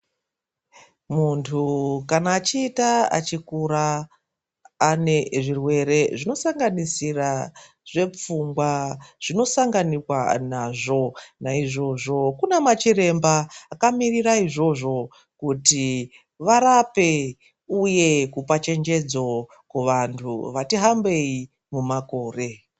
Muntu kana achiita achikura ane zvirwere zvinosanganisira zvepfungwa zvinosanganikwa nazvo ,naizvozvo Kuna anamachiremba akamirira izvozvo kuti varape uye kumachenjedzo kuvantu vati hambei kumakore.